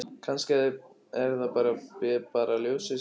Kannski er það bara ljósið, sagði hann.